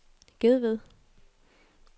Gedved